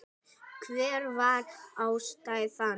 Hver var ástæðan?